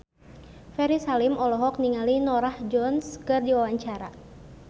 Ferry Salim olohok ningali Norah Jones keur diwawancara